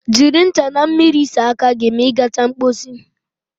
Jiri ncha na mmiri saa aka gị ma ị gacha mposi